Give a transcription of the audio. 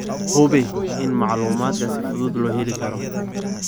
Hubi in macluumaadka si fudud loo heli karo.